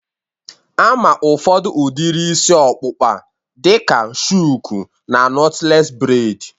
Ama ụfọdụ udiri isi ọkpụkpa a dịka shuku na nọtlees breid